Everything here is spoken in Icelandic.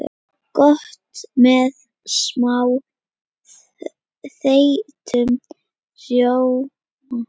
Gott með smá þeyttum rjóma.